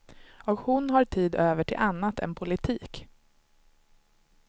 Och hon har tid över till annat än politik.